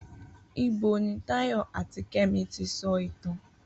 Ibo ni Táyọ̀ àti Kẹ́mi ti sọ ìtàn?